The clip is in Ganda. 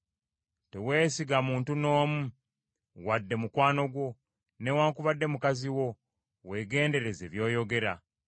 Tewesiga muntu n’omu, wadde mukwano gwo, newaakubadde mukazi wo, Weegendereze by’oyogera.